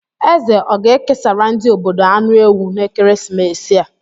Eze ọ ga-ekesara ndị obodo anụ ewu n'ekeresimesi a?